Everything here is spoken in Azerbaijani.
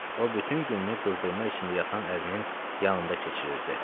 O bütün günü qızdırma içində yatan ərinin yanında keçirirdi.